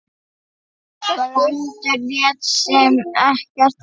Brandur lét sem ekkert væri.